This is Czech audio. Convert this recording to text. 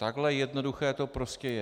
Takhle jednoduché to prostě je.